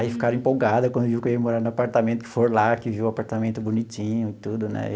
Aí ficaram empolgado aí quando viu que eu ia morar no apartamento, que foram lá, que viu o apartamento bonitinho e tudo, né?